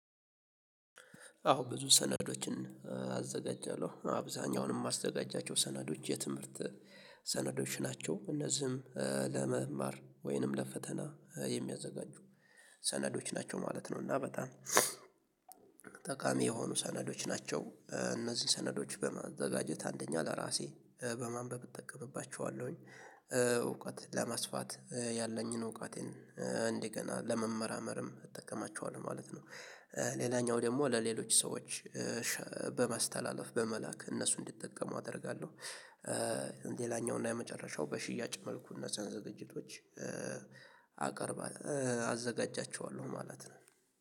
አዎ ብዙ ሰነዶችን አዘጋጃለሁ አብዛኛውንም ማዛጋጃቸው ሰነዶች የትምህርት ሰነዶች ናቸው። እነዚህም ለመማር ወይንም ለፈተና የሚያዘጋጁ ሰነዶች ናቸው ማለት ነው። እና በጣም ጠቃሚ የሆኑ ሰነዶች ናቸው። እነዚህን ሰነዶች በማዘጋጀት አንደኛ ለራሴ በማንበብ እጠቀምባቸዋለሁኝ እውቀት ለማስፋት ያለኝን እውቃቴን እንደገና ለመመርመርም እጠቀማቸዋለሁ ማለት ነው። ሌላኛው ደግሞ ለሌሎች ሰዎች በመስተላለፍ በመላክ እነሱን እንድጠቀሙ አደርጋለሁ። ሌላኛው እና የመጨረሻው በሽያጭ መልኩ እነዚያን ዝግጅቶች አቀርባ አዘጋጃቸዋለሁ ማለት ነው።